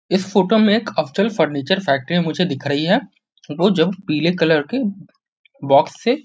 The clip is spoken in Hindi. इस फोटो में एक अफज़ल फर्नीचर फैक्ट्री में मुझे दिख रही हैं रोज हम पीले कलर के बॉक्स से --